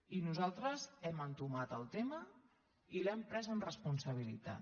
i nosaltres hem entomat el tema i l’hem pres amb responsabilitat